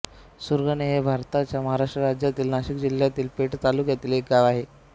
सुरगणे हे भारताच्या महाराष्ट्र राज्यातील नाशिक जिल्ह्यातील पेठ तालुक्यातील एक गाव आहे